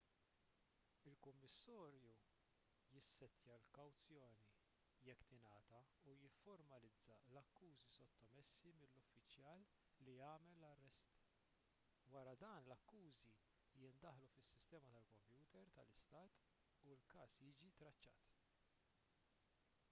il-kummissarju jissettja l-kawzjoni jekk tingħata u jifformalizza l-akkużi sottomessi mill-uffiċjal li għamel l-arrest wara dan l-akkużi jiddaħħlu fis-sistema tal-kompjuter tal-istat u l-każ jiġi traċċat